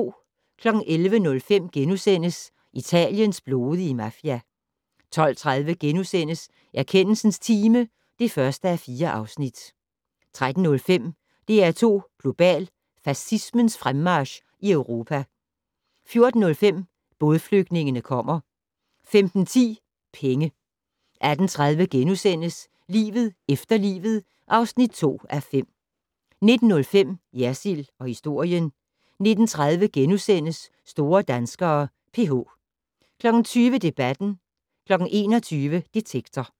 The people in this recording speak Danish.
11:05: Italiens blodige mafia * 12:30: Erkendelsens time (1:4)* 13:05: DR2 Global: Fascismens fremmarch i Europa 14:05: Bådflygtningene kommer 15:10: Penge 18:30: Livet efter livet (2:5)* 19:05: Jersild & historien 19:30: Store danskere: PH * 20:00: Debatten 21:00: Detektor